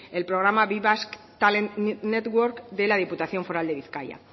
el programa be basque talent network de la diputación foral de bizkaia